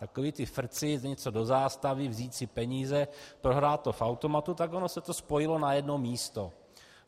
Takové ty frcy, něco do zástavy, vzít si peníze, prohrát to v automatu, tak ono se to spojilo na jedno místo.